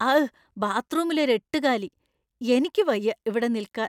അഘ്ഘ്! ബാത്ത്റൂമിലൊരു എട്ടുകാലി! എനിക്കുവയ്യ ഇവിടെ നിൽക്കാൻ.